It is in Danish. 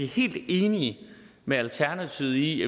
helt enige med alternativet i